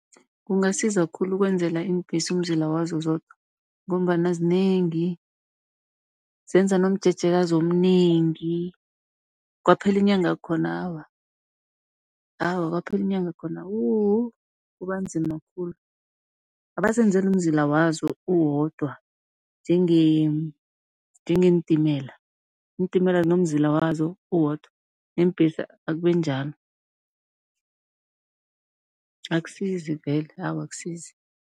Kungasiza khulu ukwenzela iimbhesi umzila wazo zodwa, ngombana zinengi, zenza nomjejekazi omnengi. Kwaphela inyanga khona awa, awa kwaphela inyanga khona wu! kuba nzima khulu. Abazenzele umzila wazo uwodwa njengeentimela, iintimela zinomzila wazo uwodwa neembhesi akube njalo. Akusizi vele awa akusizi.